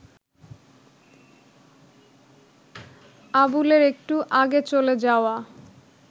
আবুলের একটু আগে চলে যাওয়া